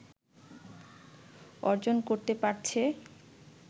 অর্জন করতে পারছে